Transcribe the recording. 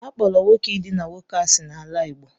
A kpọro nwoke idina nwoke asị n'ala Igbo.